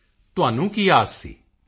ਮੋਦੀ ਜੀ ਤੁਹਾਨੂੰ ਕੀ ਆਸ ਸੀ